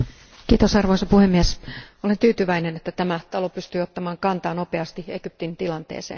Arvoisa puhemies, olen tyytyväinen, että tämä talo pystyy ottamaan kantaa nopeasti Egyptin tilanteeseen.